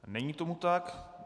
Není tomu tak.